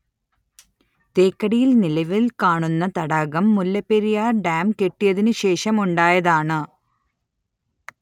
തേക്കടിയിൽ നിലവിൽ കാണുന്ന തടാകം മുല്ലപ്പെരിയാർ ഡാം കെട്ടിയതിന് ശേഷം ഉണ്ടായതാണ്